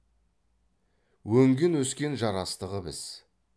өнген өскен жарастығы біз